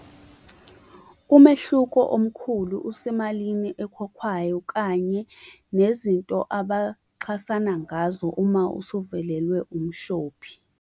Umehluko omkhulu usemalini ekhokhwayo kanye nezinto abaxhasana ngazo uma usuvelelwe umshophi.